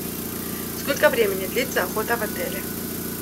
сколько времени длится охота в отеле